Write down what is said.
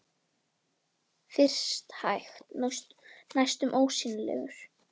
Og henni finnst að hann geti bara haft gaman af að heyra hana tala.